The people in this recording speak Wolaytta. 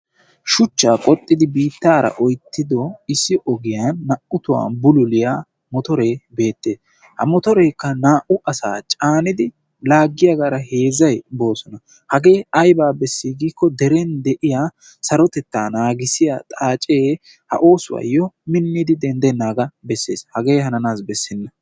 Shuchchaa qoxxidi biittara oyttido issi ogiyaan naa''u tohuwaan bulluliyaa motore beettees. ha motorekka naa''u asa caanidi laaggiyaagara heezzay boosona. hage aybba beessi giyaaba gidikko sarotetta naagissiyaa xaacce ha oosuwayyo miniddi denddenagga bessees. hagee hananayyo bessena.